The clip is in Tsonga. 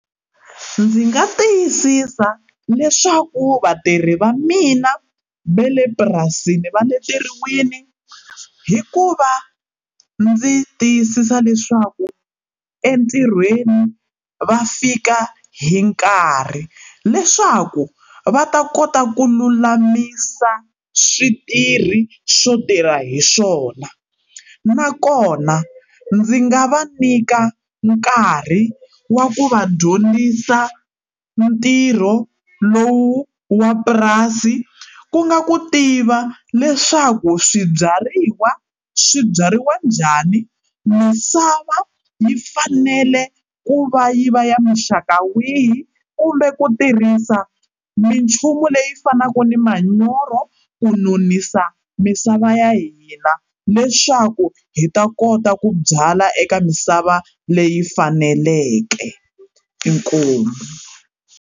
Ndzi nga tiyisisa leswaku vatirhi va mina va le purasini va leteriwini hikuva ndzi tiyisisa leswaku entirhweni va fika hi nkarhi leswaku va ta kota ku lulamisa switirhi swo tirha hi swona nakona ndzi nga va nyika nkarhi wa ku va dyondzisa ntirho lowu wa purasi ku nga ku tiva leswaku swibyariwa swi byariwa njhani misava yi fanele ku va yi va ya maxaka wihi kumbe ku tirhisa minchumu leyi fanaka ni manyoro ku nonisa misava ya hina leswaku hi ta kota ku byala eka misava leyi faneleke. Inkomu.